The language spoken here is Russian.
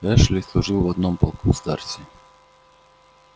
эшли служил в одном полку с дарси